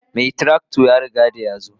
Mai tuka trakta ya zo ko.